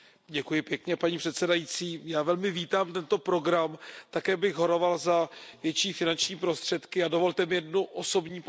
Paní předsedající, já velmi vítám tento program, také bych horoval za větší finanční prostředky a dovolte mi jednu osobní poznámku.